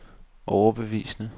overbevisende